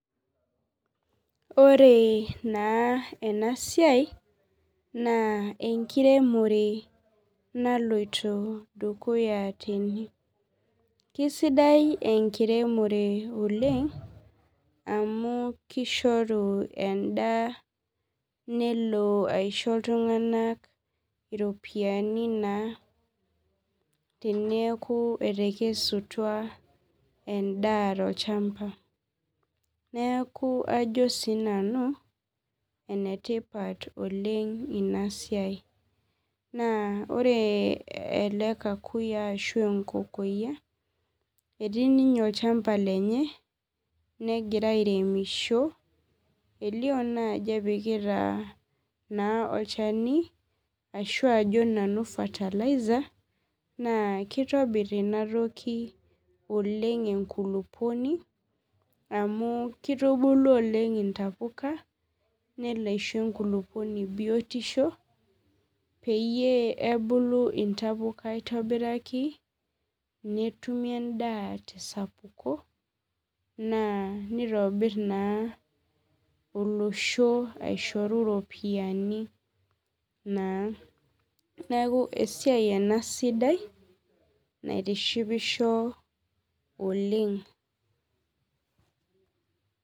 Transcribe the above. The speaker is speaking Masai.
Oree naa enasiai naa enkiremore naloito dukuya tene. Keisidai enkiremore oleng' amu keishoru endaa nelo aisho iltung'ana iropiani naa teneaku etekesutua endaa tolchamba. Neaku ajo siinanu enetipat oleng' inasiai naa ore ele kakuyiaa ashu enkokoyia etii ninye olchamba lenye negira airemisho, elio naajo epikita naa olchani ashu ajo nanu fertilizer naakeitobirr inatoki oleng' enkulupuoni amu keitubulu oleng' intapuka nelo aisho enkulukuoni biotisho peyie ebulu intapuka aitobiraki netumi endaa tesapuko naa neitobirr naa olosho aishoru iropiani naa. Neaku esiai ena sidai naitishipisho oleng'.